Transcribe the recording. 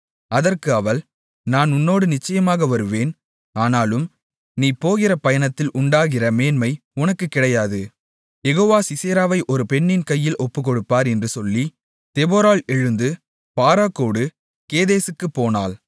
அதற்கு அவள் நான் உன்னோடு நிச்சயமாக வருவேன் ஆனாலும் நீ போகிற பயணத்தில் உண்டாகிற மேன்மை உனக்குக் கிடையாது யெகோவா சிசெராவை ஒரு பெண்ணின் கையில் ஒப்புக்கொடுப்பார் என்று சொல்லி தெபொராள் எழுந்து பாராக்கோடு கேதேசுக்குப் போனாள்